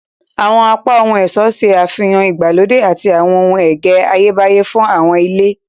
Awọn apá ohun-ọṣọ ṣe àfihàn ìgbàlódé àti awọn ẹgẹ Ayebaye fún awọn ile.